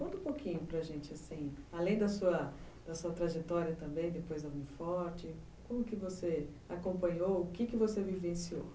Conta um pouquinho para a gente, assim, além da sua trajetória também, depois da Uni Forte, como que você acompanhou, o que você vivenciou?